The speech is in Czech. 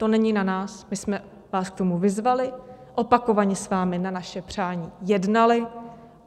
To není na nás, my jsme vás k tomu vyzvali, opakovaně s vámi na naše přání jednali.